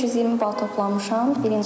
Mən 520 bal toplamışam.